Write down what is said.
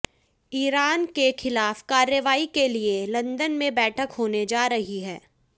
Iran के खिलाफ कार्रवाई के लिए लंदन में बैठक होने जा रही है